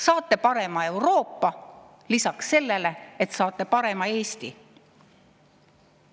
Saate parema Euroopa lisaks sellele, et saate parema Eesti.